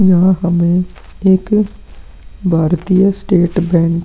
यहाँ हमें एक भारतीय स्टेट बैंक --